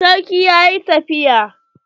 Sarki ya yi tafiya.